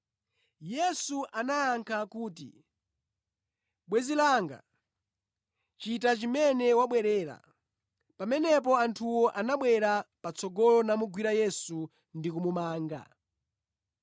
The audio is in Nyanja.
Yesu anayankha kuti, “Bwenzi langa, chita chimene wabwerera.” Pamenepo anthuwo anabwera patsogolo namugwira Yesu ndi kumumanga.